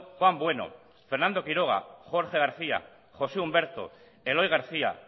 juan bueno fernando quiroga jorge garcía josé humberto eloy garcía